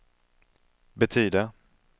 betyder